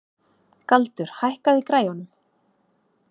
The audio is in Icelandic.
Galdur, hækkaðu í græjunum.